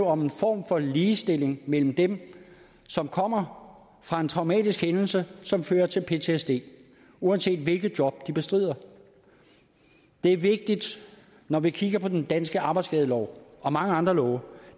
om en form for ligestilling mellem dem som kommer fra en traumatisk hændelse som fører til ptsd uanset hvilket job de bestrider det er vigtigt når vi kigger på den danske arbejdsskadelov og mange andre love